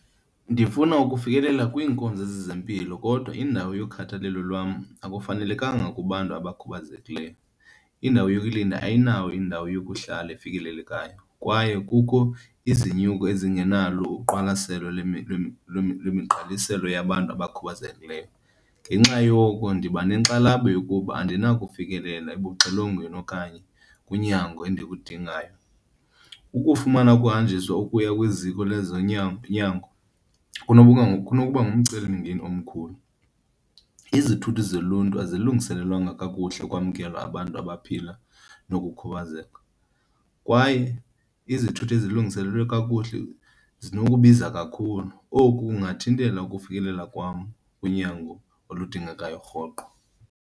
Ndifuna ukufikelela kwiinkonzo zezempilo kodwa indawo yokhathalelo lwam akufanelekanga kubantu abakhubazekileyo. Indawo yokulinda ayinawo indawo yokuhlala efikelelekayo kwaye kukho izinyuko ezingenalo uqwalaselo lwemigqaliselo yabantu abakhubazekileyo. Ngenxa yoko ndiba nenkxalabo yokuba andinakufikelela ebuxilongweni okanye kwinyango endikudingayo. Ukufumana ukuhanjiswa ukuya kwiziko lezonyango kunokuba kunokuba ngumcelimngeni omkhulu. Izithuthi zoluntu azilungiselelwanga kakuhle ukwamkela abantu abaphila nokukhubazeka, kwaye izithuthi ezilungiselelwe kakuhle zinokubiza kakhulu. Oku kungathintela ukufikelela kwam kwinyango oludingekayo rhoqo.